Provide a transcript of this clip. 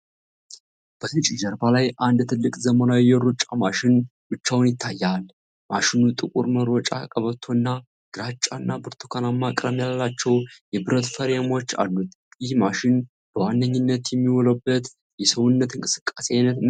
በነጭ ጀርባ ላይ አንድ ትልቅ፣ ዘመናዊ የሩጫ ማሽን ብቻውን ይታያል። ማሽኑ ጥቁር መሮጫ ቀበቶ እና ግራጫ እና ብርቱካንማ ቀለም ያላቸው የብረት ፍሬሞች አሉት። ይህ ማሽን በዋነኝነት የሚውልበት የሰውነት እንቅስቃሴ አይነት ምንድን ነው?